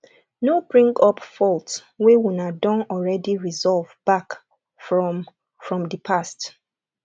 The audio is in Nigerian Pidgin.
no bring up faults wey una don already resolve back from from di past